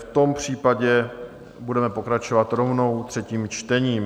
V tom případě budeme pokračovat rovnou třetím čtením.